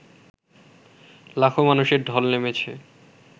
লাখো মানুষের ঢল নেমেছে